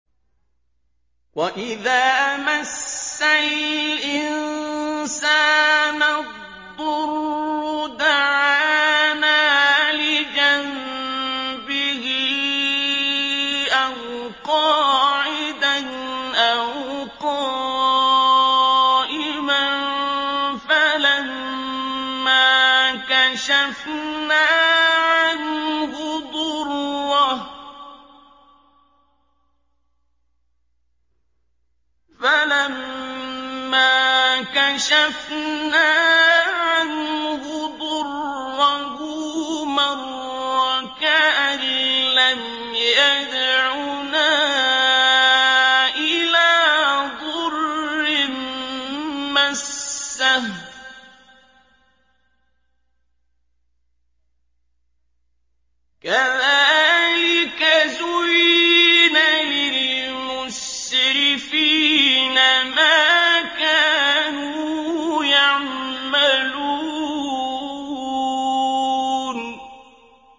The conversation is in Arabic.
وَإِذَا مَسَّ الْإِنسَانَ الضُّرُّ دَعَانَا لِجَنبِهِ أَوْ قَاعِدًا أَوْ قَائِمًا فَلَمَّا كَشَفْنَا عَنْهُ ضُرَّهُ مَرَّ كَأَن لَّمْ يَدْعُنَا إِلَىٰ ضُرٍّ مَّسَّهُ ۚ كَذَٰلِكَ زُيِّنَ لِلْمُسْرِفِينَ مَا كَانُوا يَعْمَلُونَ